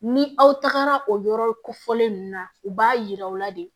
Ni aw tagara o yɔrɔ kofɔlen ninnu na u b'a yira aw la de